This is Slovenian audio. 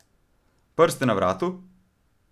Prste na vratu?